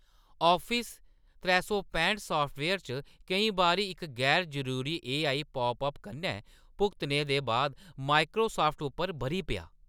Office त्रै सौ पैंह्ट साफ्टवेयर च केईं बारी इक गैर-जरूरी एआई पॉपअप कन्नै भुगतने दे बाद माइक्रोसाफ्ट उप्पर ब'री पेआ।